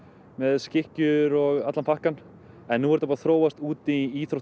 með skikkjur og allan pakkann en nú er þetta búið þróast út í íþrótt